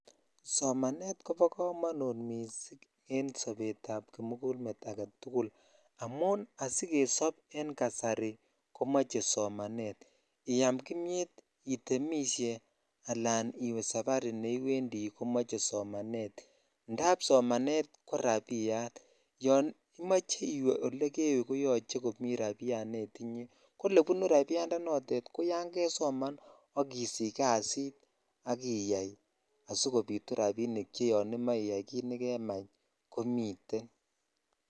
Somanet ko bo komonut missing e sobet ab kimugul met agetukul amun asikesob en kasari komoe somanet iyam kimia itemishe ala iwe sabari komoche somanet indap somanet ko rabiyatyon imoche iwe ole kewe komuche komi rabiyatnetinye ko olebunu notet ko yan kesoman ak isich kasit ak iyai asikobitu rabinik che iyai kit nejemach ko miten.